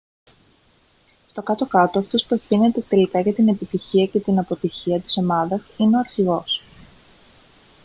στο κάτω-κάτω αυτός που ευθύνεται τελικά για την επιτυχία και την αποτυχία της ομάδας είναι ο αρχηγός